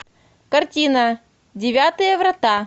картина девятые врата